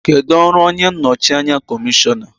Kedu ọrụ onye nnọchi anya kọmishọna?